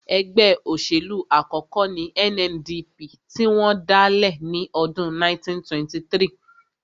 Ẹgbẹ́ òṣèlú àkọ́kọ́ ní NNDP tí wọ́n dálẹ̀ ní ọdún 1923